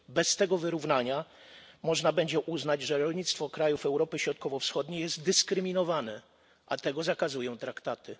Bez tego wyrównania można będzie uznać, że rolnictwo krajów Europy Środkowo Wschodniej jest dyskryminowane, a tego zakazują traktaty.